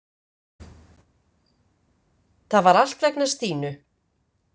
Það var allt vegna Stínu.